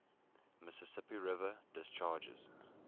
mississippi river discharges